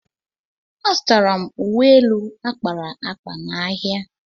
Azụtara m uwe elu a kpara akpa n'ahịa